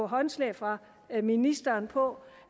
håndslag fra ministeren på